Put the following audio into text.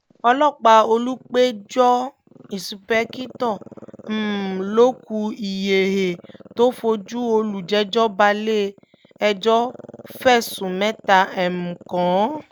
ọlọ́pàá olùpẹ̀jọ́ ìǹṣìpẹ̀kìtọ́ um lókù ilhéhie tó fojú olùjẹ́jọ́ balẹ̀-ẹjọ́ fẹ̀sùn mẹ́ta um kàn án